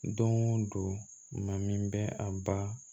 Don o don maa min bɛ a ba